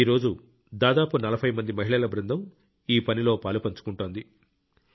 ఈ రోజు దాదాపు నలభై మంది మహిళల బృందం ఈ పనిలో పాలుపంచుకుంటోంది